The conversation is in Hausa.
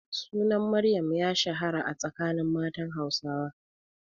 Sunan Maryam ya shahara a tsakanin matan Hausawa.